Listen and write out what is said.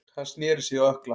Hann snéri sig á ökkla.